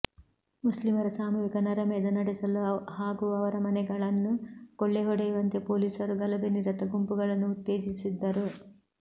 ಮುಸ್ಲಿಮರ ಸಾಮೂಹಿಕ ನರಮೇಧ ನಡೆಸಲು ಹಾಗೂ ಅವರ ಮನೆಗಳನ್ನು ಕೊಳ್ಳೆಹೊಡೆಯುವಂತೆ ಪೊಲೀಸರು ಗಲಭೆನಿರತ ಗುಂಪುಗಳನ್ನು ಉತ್ತೇಜಿಸಿದ್ದರು